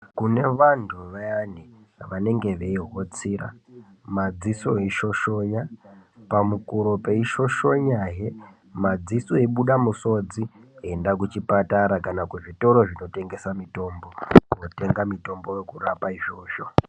Kune vantu vayani vanenge beyihotsira ,madziso eyishoshonya pamukuro peyishoshona yee, madziso eyibuda musodzi enda kuchipatara kana kuti kuzvitoro zvinotengesa mitombo kunotenga mitombo yekurapa izvozvo.